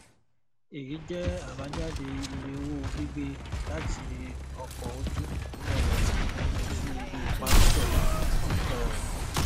èyí jẹ àbájáde iye owó gbígbé láti ọkọ ojú um omi sí ibi ìpamọ dọlà um